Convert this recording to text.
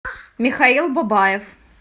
михаил бабаев